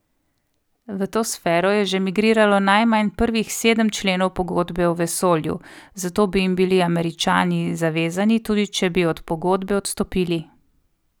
V to sfero je že migriralo najmanj prvih sedem členov Pogodbe o vesolju, zato bi jim bili Američani zavezani, tudi če bi od pogodbe odstopili.